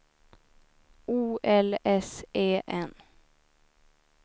O L S E N